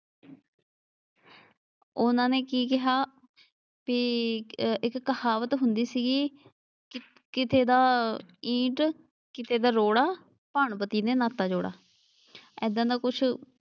ਉਨ੍ਹਾਂ ਨੇ ਕੀ ਕਿਹਾ ਕੀ ਇੱਕ ਕਹਾਵਤ ਹੁੰਦੀ ਸੀਗੀ। ਕਿਸੇ ਦਾ ਈਟ, ਕਿਸੇ ਦਾ ਰੋੜਾ ਭਾਣਵਤੀ ਨੇ ਨਾਤਾ ਜੋੜਾ। ਏਦਾਂ ਦਾ ਕੁਛ,